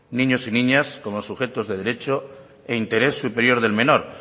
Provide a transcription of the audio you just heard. niños y niñas como sujetos de derecho e interés superior del menor